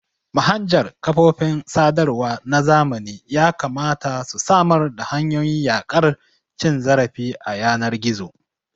Manhajar kafofin sadarwa na zamani yakamata su samar da hanyoyin yaƙar cin zarafi a yanar gizo.